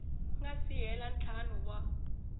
nga si hela ntlhanu wa